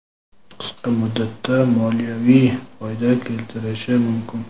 qisqa muddatda moliyaviy foyda keltirishi mumkin.